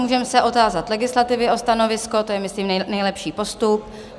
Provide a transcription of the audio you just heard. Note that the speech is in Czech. Můžeme se otázat legislativy na stanovisko, to je myslím nejlepší postup.